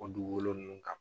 Ko dugugolo nunnu kan